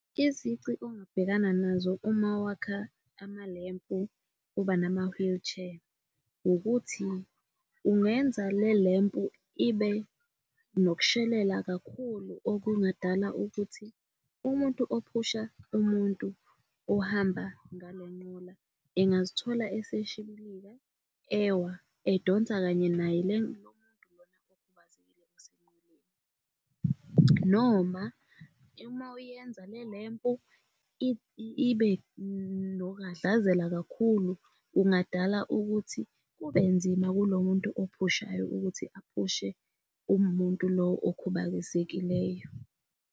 Izici ongabhekana nazo uma wakha amalempu kuba nama-wheelchair. Ukuthi ungenza le lempu ibe nokushelela kakhulu okungadala ukuthi umuntu ophusha umuntu ohamba ngale nqola engazithola eseshibilika ewa edonsa kanye naye Lo muntu lona ekhubazekile osenqoleni, noma uma uyenza le lempu ibe nokuhhadlazela kakhulu kungadala ukuthi kubenzima kulo muntu ophushayo ukuthi aphushe umuntu lo okhubazekileyo.